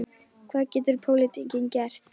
Hvað getur pólitíkin gert?